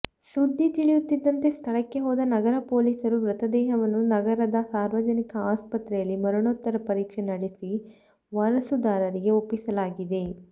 ಸುದ್ದಿ ತಿಳಿಯುತ್ತಿದ್ದಂತೆ ಸ್ಥಳಕ್ಕೆ ಹೋದ ನಗರ ಪೊಲೀಸರು ಮೃತದೇಹವನ್ನು ನಗರದ ಸಾರ್ವಜನಿಕ ಆಸ್ಪತ್ರೆಯಲ್ಲಿ ಮರಣೋತ್ತರ ಪರೀಕ್ಷೆ ನಡೆಸಿ ವಾರಸುದಾರರಿಗೆ ಒಪ್ಪಿಸಲಾಗಿದೆ